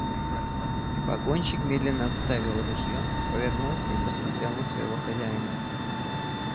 погонщик медленно отставил ружьё повернулся и посмотрел на своего хозяина